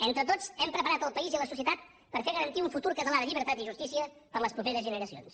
entre tots hem preparat el país i la societat per a fer garantir un futur català de llibertat i justícia per a les properes generacions